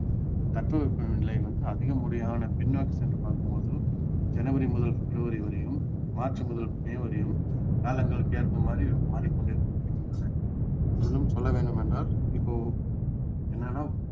தட்பவெப்ப நிலை வந்து அதிகபடியான பின்நோக்கி சென்று பார்க்கும் போத ஜனவரி முதல் பிப்ரவரி வரையும் மார்ச் முதல் மே வரையும் காலங்களுக்கு ஏற்ப மாதிரி மாறி கொண்டே இருக்கின்றன அதிலும் சொல்ல வேண்டும் என்றால் இப்போ என்னன்னா